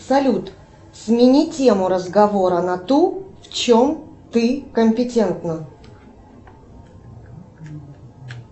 салют смени тему разговора на ту в чем ты компетентна